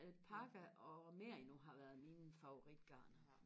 alpaca og merino har været mine favoritgarner